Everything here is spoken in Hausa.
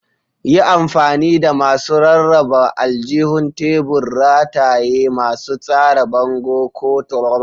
Yi amfani da masu rarraba aljihun tebur, rataye, masu tsara bango, ko takamaiman kwanoni don tsara sararin ku.